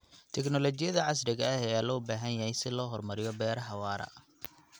Tiknoolajiyadda casriga ah ayaa loo baahan yahay si loo horumariyo beeraha waara.